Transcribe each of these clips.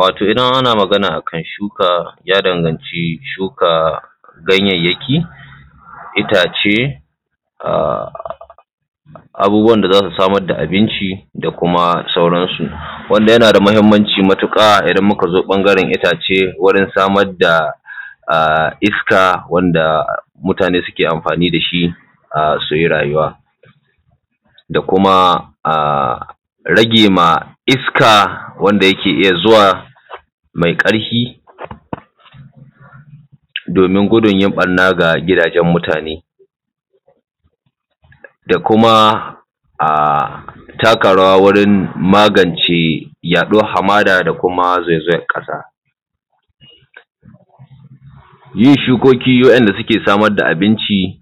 Wato idan ana magana akan shuka ya danganci shuka ganyayyaki, itace, abubuwan da za su samar da abinci da kuma sauran su. Wanda yana da muhimmanci matuƙa idan muka zo ɓangaren itace wurin samar da iska, wanda mutane suke amfani da shi su yi rayuwa da kuma rage ma iska wanda yake iya zuwa mai ƙarfi domin gudun yin banna ga gidajen mutane, da kuma taka rawa wurin magance yaɗuwar Hamada, da kuma zaizayan ƙasa. Yin shukoki wa'inda suke samar da abinci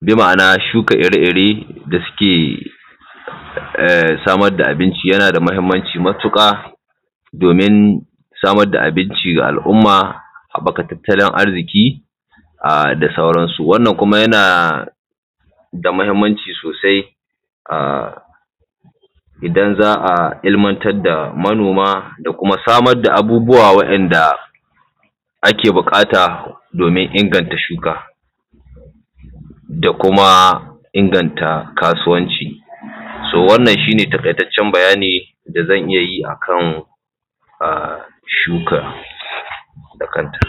bi ma'ana shuka ire ire da suke samar da abinci yana da muhimmanci matuƙa domin samar da abinci ga al'umma, haɓɓaka tattalin arziki da sauran su. Wannan yana da muhimmanci sosai idan za a ilmantar da manoma da kuma samar da abubuwa wa'inda ake buƙata domin inganta shuka da kuma inganta kasuwanci. To wannan shi ne taƙaitaccen bayani da zan iyayi akan shuka da kanta.